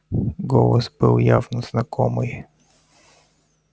голос был явно знакомый